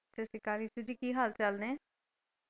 ਸਤਿ ਸ਼੍ਰੀ ਅਕਾਲ ਜੀ ਕੀ ਹਾਲ ਚਾਲ ਨੇ?